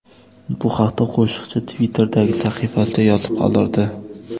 Bu haqda qo‘shiqchi Twitter’dagi sahifasida yozib qoldirdi .